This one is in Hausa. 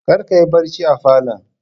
Kar kayi barci a falon